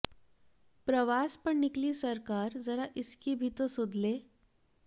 प्रवास पर निकली सरकार जरा इसकी भी तो सुध ले